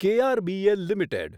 KRBL limited